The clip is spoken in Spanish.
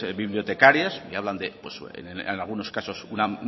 bibliotecarias que hablan de una